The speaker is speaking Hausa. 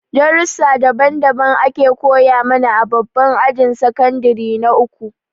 Darussa daban daban ake koya mana a babban ajin sakandire na uku